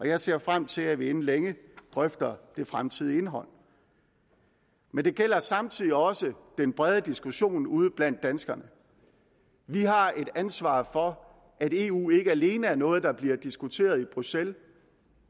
jeg ser frem til at vi inden længe drøfter det fremtidige indhold men det gælder samtidig også den brede diskussion ude blandt danskerne vi har et ansvar for at eu ikke alene er noget der bliver diskuteret i bruxelles